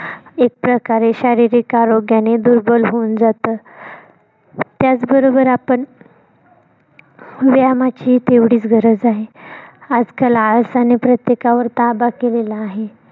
एक प्रकारे शारीरिक आरोग्याने दुर्बल होऊन जात त्याच बरोबर आपण व्यायामाचीही तेवढीच गरज आहे आजकाल आळसाने प्रत्येकावर ताबा केलेला आहे.